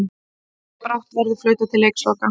Brátt verður flautað til leiksloka